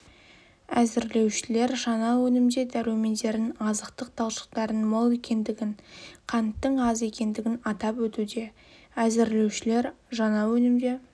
әзірлеушілер жаңа өнімде дәрумендердің азықтық талшықтардың мол екендігін қанттың аз екендігін атап өтуде әзірлеушілер жаңа өнімде